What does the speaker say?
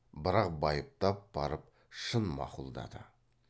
бірақ байыптап барып шын мақұлдады